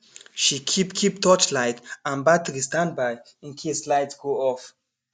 she keep keep torchlight and battery standby in case light go off